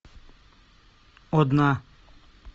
одна